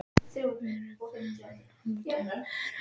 Við erum góðir vinir heldur við vorum.